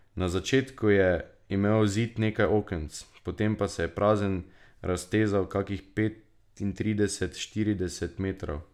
Na začetku je imel zid nekaj okenc, potem pa se je prazen raztezal kakih petintrideset, štirideset metrov.